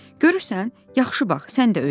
Görürsən, yaxşı bax, sən də öyrən.